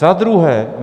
Za druhé.